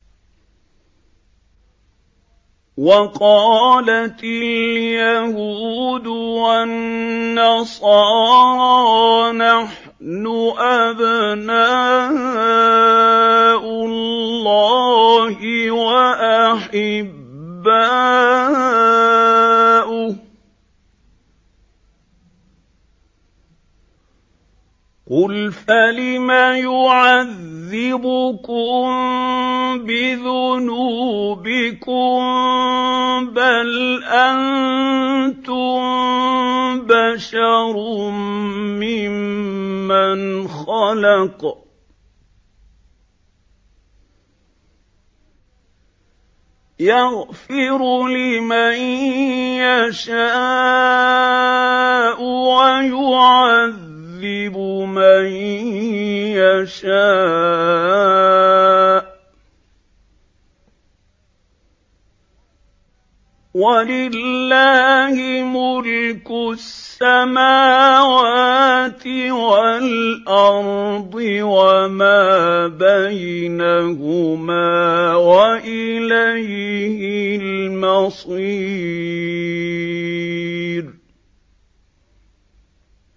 وَقَالَتِ الْيَهُودُ وَالنَّصَارَىٰ نَحْنُ أَبْنَاءُ اللَّهِ وَأَحِبَّاؤُهُ ۚ قُلْ فَلِمَ يُعَذِّبُكُم بِذُنُوبِكُم ۖ بَلْ أَنتُم بَشَرٌ مِّمَّنْ خَلَقَ ۚ يَغْفِرُ لِمَن يَشَاءُ وَيُعَذِّبُ مَن يَشَاءُ ۚ وَلِلَّهِ مُلْكُ السَّمَاوَاتِ وَالْأَرْضِ وَمَا بَيْنَهُمَا ۖ وَإِلَيْهِ الْمَصِيرُ